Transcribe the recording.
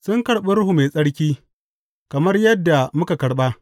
Sun karɓi Ruhu Mai Tsarki kamar yadda muka karɓa.